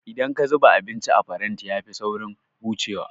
Idan aka zuba abinci a faranti ya fi saurin hucewa